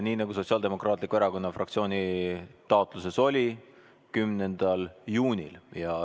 Nii nagu Sotsiaaldemokraatliku Erakonna fraktsiooni taotluses oli, 10. juunil.